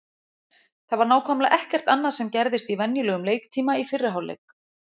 Það var nákvæmlega ekkert annað sem gerðist í venjulegum leiktíma í fyrri hálfleik.